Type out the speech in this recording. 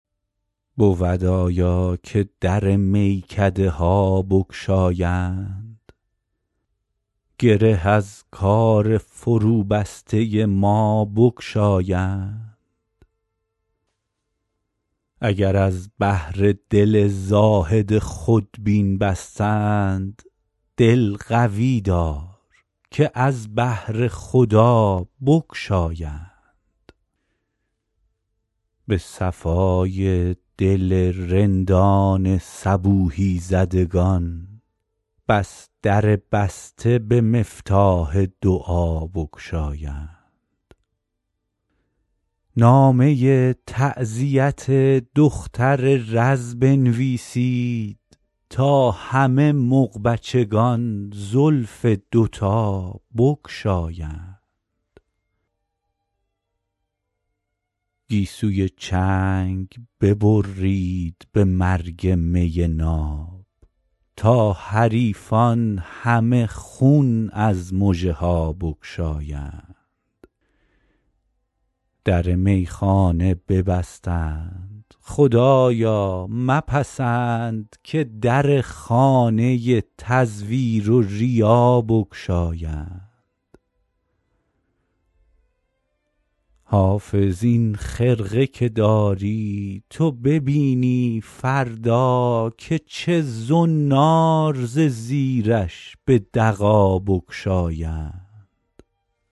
بود آیا که در میکده ها بگشایند گره از کار فروبسته ما بگشایند اگر از بهر دل زاهد خودبین بستند دل قوی دار که از بهر خدا بگشایند به صفای دل رندان صبوحی زدگان بس در بسته به مفتاح دعا بگشایند نامه تعزیت دختر رز بنویسید تا همه مغبچگان زلف دوتا بگشایند گیسوی چنگ ببرید به مرگ می ناب تا حریفان همه خون از مژه ها بگشایند در میخانه ببستند خدایا مپسند که در خانه تزویر و ریا بگشایند حافظ این خرقه که داری تو ببینی فردا که چه زنار ز زیرش به دغا بگشایند